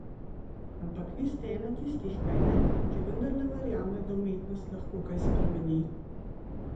Ampak vi ste ena tistih, kajne, ki vendarle verjame, da umetnost lahko kaj spremeni?